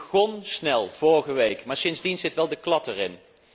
U begon snel vorige week, maar sindsdien zit er wel de klad in.